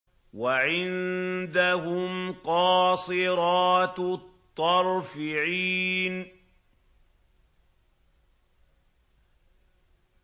وَعِندَهُمْ قَاصِرَاتُ الطَّرْفِ عِينٌ